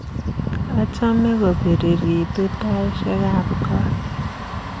Achame kopiriritu taishekab koot